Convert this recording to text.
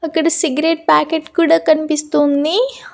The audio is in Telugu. అక్కడ సిగరెట్ ప్యాకెట్ కూడా కనిపిస్తుంది.